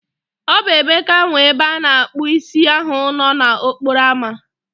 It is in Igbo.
O bụ Emeka nwe ebe ana akpu isi ahu nọ n'okporo ámá